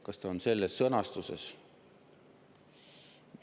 Kas ta on selles sõnastuses?